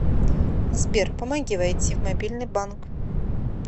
сбер помоги войти в мобильный банк